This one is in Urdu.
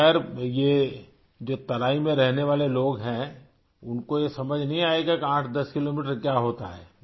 خیر، یہ تو ترائی میں رہنے والے لوگ ہیں ان کو یہ سمجھ نہیں آئے گا 108 کلومیٹر کیا ہوتا ہے